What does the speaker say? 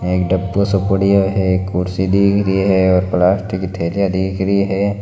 एक डब्बो सो पड़िया है एक कुर्सी दिख री है और प्लास्टिक थैलियां दिख रही है।